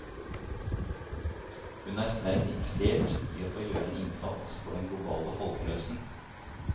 Hun er sterkt interessert i å få gjøre en innsats for den globale folkehelsen.